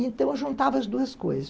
Então, eu juntava as duas coisas.